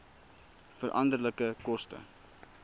veranderlike koste